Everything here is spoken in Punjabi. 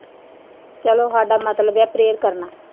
ਚਲੋ ਸਾਡਾ ਮਤਲਬ ਆ prayer ਕਰਨਾ